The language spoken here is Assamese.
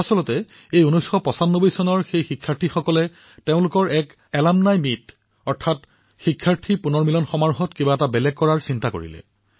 প্ৰকৃততে এই বেটচৰ সন্মিলনত প্ৰাক্তন শিক্ষাৰ্থীসকলে কিছু ভিন্ন কাম কৰাৰ কথা চিন্তা কৰিছিল